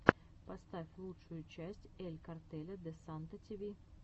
поставь лучшую часть эль картеля де санта ти ви